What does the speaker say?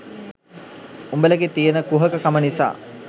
උඹලගේ තියෙන කුහක කම නිසා